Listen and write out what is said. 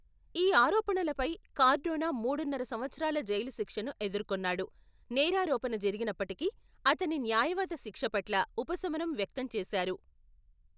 ఈ ఆరోపణలపై కార్డోనా మూడున్నర సంవత్సరాల జైలు శిక్షను ఎదుర్కొన్నాడు, నేరారోపణ జరిగినప్పటికీ, అతని న్యాయవాది శిక్ష పట్ల ఉపశమనం వ్యక్తం చేశారు.